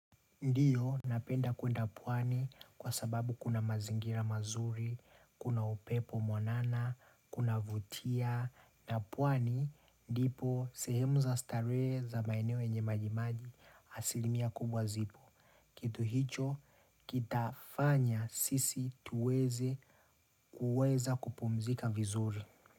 Ndiyo, napenda kwenda pwani kwa sababu kuna mazingira mazuri, kuna upepo mwanana, kunavutia, na pwani ndipo sehemu za starehe za maeneo yenye majimaji asilimia kubwa zipo. Kitu hicho, kitafanya sisi tuweze kuweza kupumzika vizuri.